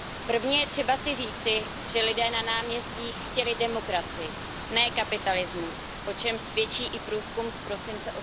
Prvně je třeba si říci, že lidé na náměstích chtěli demokracii, ne kapitalismus, o čemž svědčí i průzkum z prosince